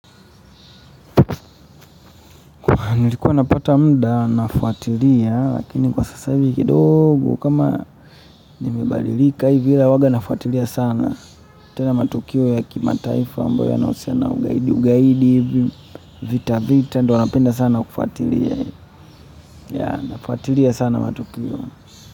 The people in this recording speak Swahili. Nilikuwa napata muda nafuatilia lakini kwa sasa hivi kidogo kama nimebalilika hivi ila huwaga nafuatilia sana tena matukio ya kimataifa ambayo yanahusiana ugaidi ugaidi hivi vita vita ndio napenda sana kufuatilia nafuatilia sana matukio.